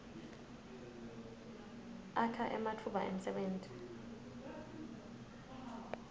akha ematfuba emsebenti